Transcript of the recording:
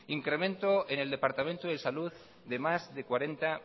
incremento en el departamento de salud de más de cuarenta